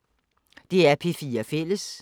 DR P4 Fælles